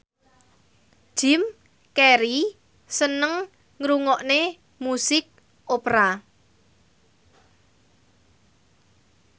Jim Carey seneng ngrungokne musik opera